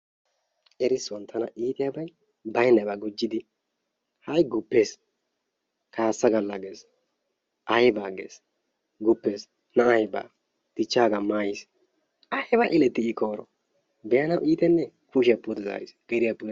Erissuwan tana iitiyabay baynnabaa gujjidi hay guppees kaassa galla gees aybaa gees guppees nay ba dichchaagaa maayiis ayba eletti I koyro be'anawu iittenne? Kushiya pude zaariis biiriya pude..